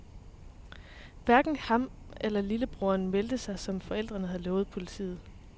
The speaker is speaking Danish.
Hverken han eller en lillebror meldte sig, som forældrene havde lovet politiet.